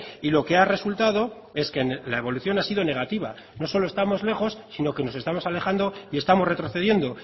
y lo que ha resultado es que la evolución ha sido negativa no solo estamos lejos sino que nos estamos alejando y estamos retrocediendo